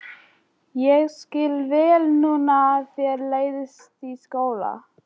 Ég skil vel núna að þér leiðist í skóla.